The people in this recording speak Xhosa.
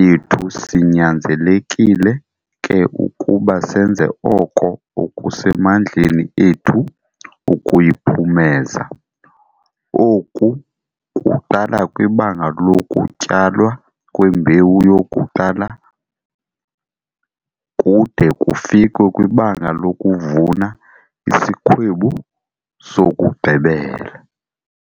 yethu sinyanzelekile ke ukuba senze oko okusemandleni ethu ukuyiphumeza. Oku kuqala kwibanga lokutyalwa kwembewu yokuqala kude kufikwe kwibanga lokuvuna isikhwebu sokugqibela.